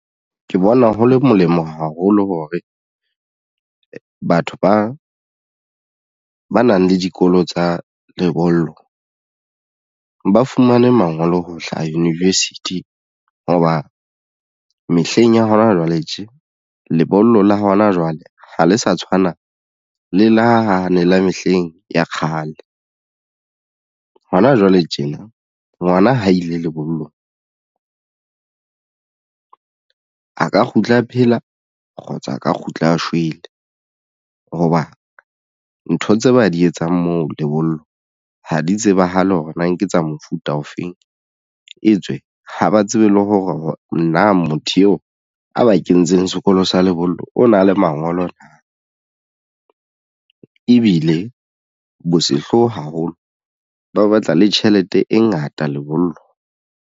Ke bona ho le molemo haholo hore batho ba ba nang le dikolo tsa lebollo ba fumane mangolo ho hlaha university hoba mehleng ya hona jwale tje lebollo la hona jwale ha le sa tshwana le lane la mehleng ya kgale. Hona jwale tjena ngwana ha ile lebollong a ka kgutla phela kgotsa aka kgutla shwele hoba ntho tse ba di etsang moo lebollo ha di tsebahale hore na ke tsa mofuta ofeng e tswe ha ba tsebe le hore na motho eo a ba kentseng sekolo sa lebollo o na le mangolo na ebile bo sehloho haholo ba batla le tjhelete e ngata lebollo.